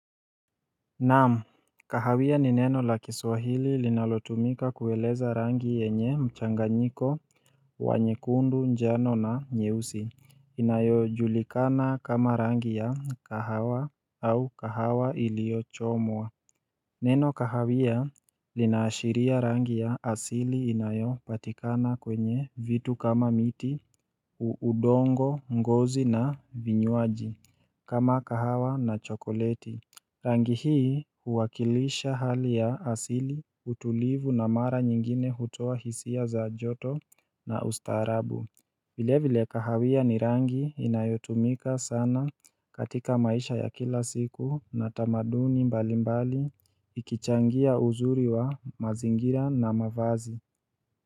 Naamu, kahawia ni neno la kiswahili linalotumika kueleza rangi yenye mchanganyiko, wanyekundu, njano na nyeusi, inayo julikana kama rangi ya kahawa au kahawa ilio chomwa. Neno kahawia, linaashiria rangi ya asili inayo patikana kwenye vitu kama miti, uudongo, ngozi na vinyuaji, kama kahawa na chokoleti Rangi hii huwakilisha hali ya asili, utulivu na mara nyingine hutoa hisia za joto na ustarabu. Vile vile, kahawia ni rangi inayotumika sana katika maisha ya kila siku, na tamaduni mbali mbali, ikichangia uzuri wa mazingira na mavazi.